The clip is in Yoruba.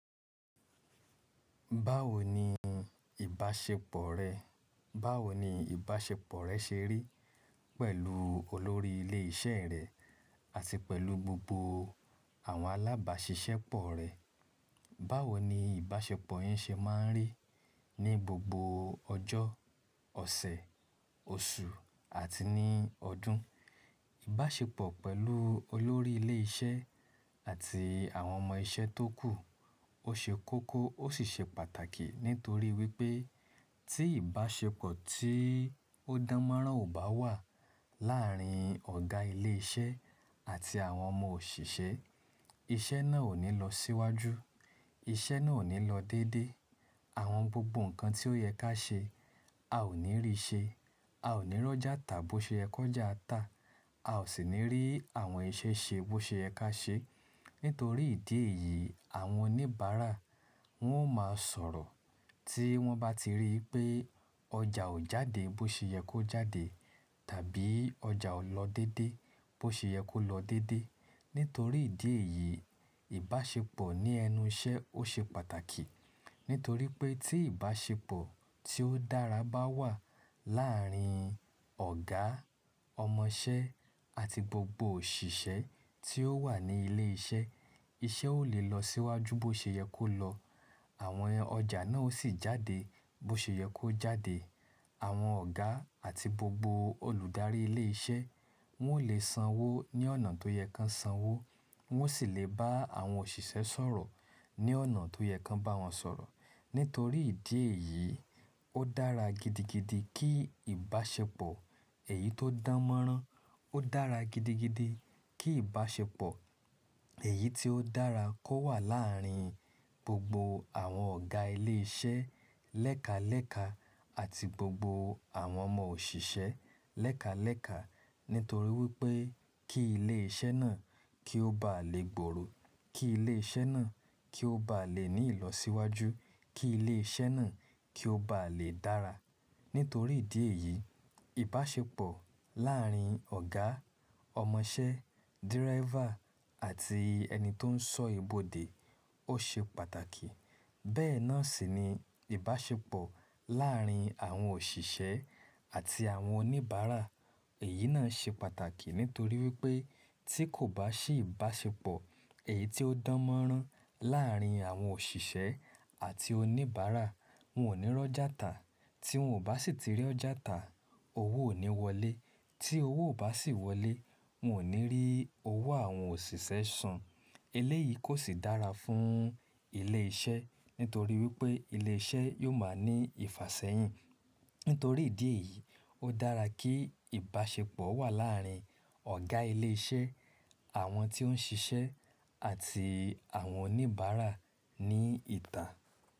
Báwo ni ìbáṣepọ̀ rẹ? Báwo ni ìbáṣepọ̀ rẹ ṣe rí pẹ̀lú olórí ilé iṣẹ́ rẹ àti pẹ̀lú gbogbo àwọn alábàáṣiṣẹ́ pọ̀ rẹ? Báwo ni ìbáṣepọ̀ yín ṣe máa ń rí ní gbogbo ọjọ́, ọ̀sẹ̀, oṣù àti ní ọdún? Ìbáṣepọ̀ pẹ̀lú olórí ilé iṣẹ́ àti àwọn ọmọ iṣẹ́ tó kù ó ṣe kókó ó sì ṣe pàtàkì nítorí wípé tí ìbáṣepọ̀ tí ó dánmọ́rán ò bá wà láàrin ọ̀gá ilé iṣẹ́ àti àwọn ọmọ òṣìṣẹ́, iṣẹ́ náà ò ní lọ síwájú, iṣẹ́ náà ò ní lọ déédé, àwọn gbogbo nǹkan tí ó yẹ ká ṣe a ò ní rí ṣe, a ò ní rọ́jà tà bó ṣe ẹ kọ́jà ta, a ò sì ní rí àwọn iṣẹ́ ṣe bó ṣe ẹ ká ṣe. Nítorí ìdí èyí àwọn oníbàárà wọn ó máa sọ̀rọ̀ tí wọn bá ti rí pé ọjà ò jáde bó ṣe yẹ kó jáde tàbí ọjà ò lọ déédé bó ṣe yẹ kó lọ déédé. Nítorí ìdí èyí ìbáṣepọ̀ ní ẹnu iṣẹ́ ó ṣe pàtàkì. Nítorí pé tí ìbáṣepọ̀ tí ó dára bá wà láàrin ọ̀gá, ọmọ iṣẹ́ àti gbogbo òṣìṣẹ́ tí ó wà ní ilé iṣẹ́, iṣẹ́ ó lè lọ síwájú bó ṣe yẹ kó lọ. Àwọn ọjà náà ó sì jáde bó ṣe yẹ kó jáde. Àwọn ọ̀gá àti gbogbo olùdarí ilé iṣẹ́ wọn ó lè sanwó ní ọ̀nà tó yẹ ká sanwó, wọn ó sì lè bá àwọn òṣìṣẹ́ sọ̀rọ̀ ní ọ̀nà tó yẹ ká bá wọn sọ̀rọ̀. Nítorí ìdí èyí ó dára gidigidi kí ìbáṣepọ̀ èyí tó dánmọ́rán, ó dára gidigidi kí ìbáṣepọ̀ èyí tí ó dára kó wà láàrin gbogbo àwọn ọ̀gá ilé iṣẹ́ lẹ́kalẹ̀ka àti gbogbo àwọn ọmọ òṣìṣẹ́ lẹ́kalẹ̀ka. Nítorí wípé kí ilé iṣẹ́ náà kí ó bá lè gbòòrò, kí ilé iṣẹ́ náà kí ó bá lè ní ìlọsíwájú, kí ilé iṣẹ́ náà kí ó bá lè dára. Nítorí ìdí èyí ìbáṣepọ̀ láàrin ọ̀gá, ọmọ iṣẹ́, dírẹ́fà àti ẹni tó ń sọ ibodè ó ṣe pàtàkì. Bẹ́ẹ̀ náà sì ni ìbáṣepọ̀ láàrin àwọn òṣìṣẹ́ àti àwọn oníbàárà èyí náà ṣe pàtàkì nítorí wípé tí kò bá sì ìbáṣepọ̀ èyí tí ó dánmọ́rán láàrin àwọn òṣìṣẹ́ àti oníbàárà wọn ò ní rọ́jà tà, tí wọn ò bá sì ti rí ọjà tà owó ò ní wọlé, tí owó ò bá sì wọlé wọn ò ní rí owó àwọn òṣìṣẹ́ san. Eleyìí kò sì dára fún ilé iṣẹ́ nítorí wípé ilé iṣẹ́ yóò máa ní ìfàsẹ́yìn. Nítorí ìdí èyí ó dára kí ìbáṣepọ̀ wà láàrin ọ̀gá ilé iṣẹ́, àwọn tí ó ń ṣiṣẹ́ àti àwọn oníbàárà ní ìtà.